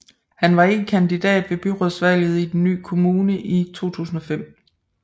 Han var ikke kandidat ved byrådsvalget i den nye kommune i 2005